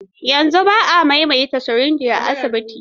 Yanzu ba a maimaita sirinjai a asibitoci.